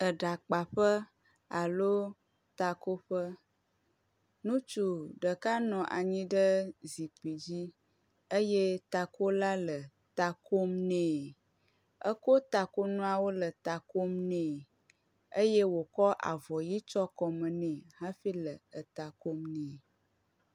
Eɖakpaƒe alo takoƒe, ŋutsu ɖeka nɔ anyi ɖe zikpui dzi eye takola le ta kom nɛ. Ekɔ takonuawo le ta kom nɛ eye wòkɔ avɔ ʋi tsyɔ kɔme nɛ hafi le eta kom nɛ.